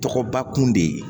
Tɔgɔba kun de ye